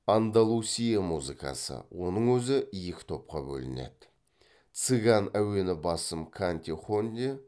андалусия музыкасы оның өзі екі топқа бөлінеді цыган әуені басым канте хоне